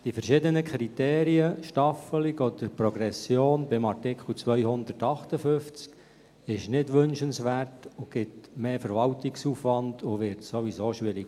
Die verschiedenen Kriterien, Staffelung oder Progression, bei Artikel 258 sind nicht wünschenswert, geben mehr Verwaltungsaufwand und werden sowieso schwierig.